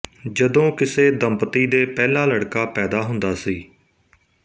ਜਦੋਂ ਕਿਸੇ ਦੰਪਤੀ ਦੇ ਪਹਿਲਾ ਲੜਕਾ ਪੈਦਾ ਹੁੰਦਾ ਸੀ